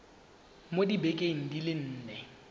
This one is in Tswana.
mo dibekeng di le nne